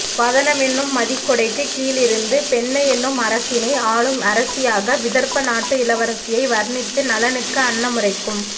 வதனமென்னும் மதிக்குடைக்குக் கீழிருந்து பெண்மையென்னும் அரசினை ஆளும் அரசியாக விதர்ப்ப நாட்டு இளவரசியை வர்ணித்து நளனுக்கு அன்னமுரைக்கும்